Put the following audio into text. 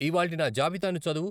ఇవాళ్టి నా జాబితాను చదువు.